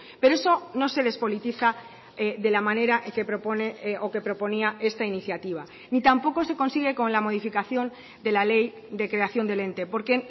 pero eso no se despolitiza de la manera que propone o que proponía esta iniciativa ni tampoco se consigue con la modificación de la ley de creación del ente porque